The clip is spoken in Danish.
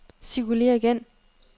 cirkulér igen